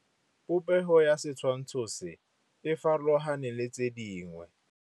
Popêgo ya setshwantshô se, e farologane le tse dingwe.